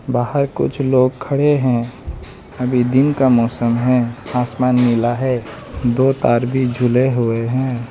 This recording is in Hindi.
बाहर कुछ लोग खड़े हैं अभी दिन का मौसम है आसमान नीला है दो तार भी झूले हुए हैं।